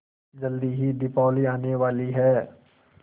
जल्दी ही दीपावली आने वाली है